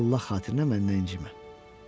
Amma Allah xatirinə məndən incimə.